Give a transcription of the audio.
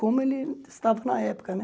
Como ele estava na época, né?